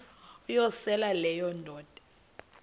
uyosele leyo indoda